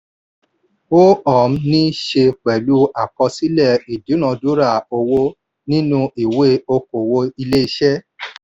ó um ní í ṣe pẹ̀lú àkọsílẹ̀ ìdúnadúrà owó nínú ìwé okòwò ilé-iṣẹ́.